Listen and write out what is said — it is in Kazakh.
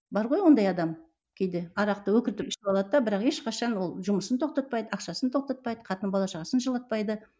бар ғой ондай адам кейде арақты өкіртіп ішіп алады да бірақ ешқашан ол жұмысын тоқтатпайды ақшасын тоқтатпайды қатын бала шағасын жылатпайды